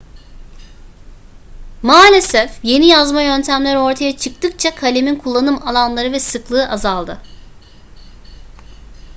maalesef yeni yazma yöntemleri ortaya çıktıkça kalemin kullanım alanları ve sıklığı azaldı